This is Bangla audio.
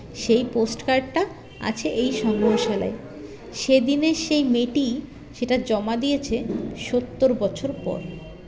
সেই post card -টা আছে এই সংগ্ৰহশালায় সেদিনের সেই মেয়েটি সেটা জমা দিয়েছে সত্তর বছর পর